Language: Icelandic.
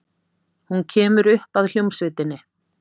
Hún kemur upp að hljómsveitinni.